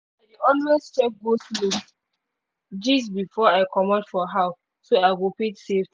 always check go-slow gist before i comot for house so i go fit save.